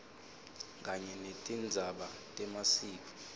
kanye netindzaba temasiko